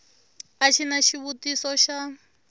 a xi na xivutiso xa